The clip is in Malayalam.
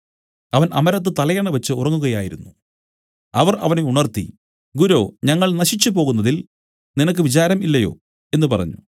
അവൻ അമരത്ത് തലയണ വെച്ച് ഉറങ്ങുകയായിരുന്നു അവർ അവനെ ഉണർത്തി ഗുരോ ഞങ്ങൾ നശിച്ചുപോകുന്നതിൽ നിനക്ക് വിചാരം ഇല്ലയോ എന്നു പറഞ്ഞു